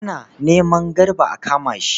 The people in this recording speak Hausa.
Ana neman Garba a kama shi.